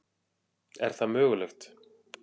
Er það mögulegt?